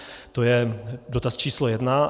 To je dotaz číslo jedna.